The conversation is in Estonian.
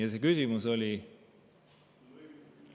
Ja see küsimus oli?